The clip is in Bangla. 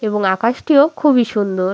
এবং আকাশটি ও খুবই সুন্দর।